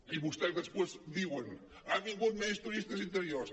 i vostès després diuen han vingut menys turistes interiors